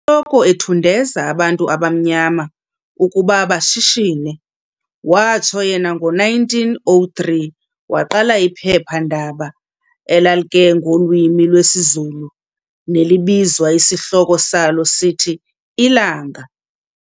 loko ethundeza abantu abamnyama ukuba bashishine, watsho yena ngo-1903 waqala iphepha-ndaba lalke ngolwimi lwesiZulu nelibizwa, isihloko salo sithi 'Ilanga'.